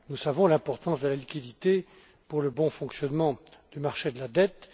Nous savons l'importance de la liquidité pour le bon fonctionnement du marché de la dette.